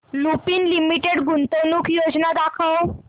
Lupin Limited गुंतवणूक योजना दाखव